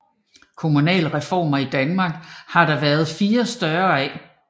Kommunalreformer i Danmark har der været fire større af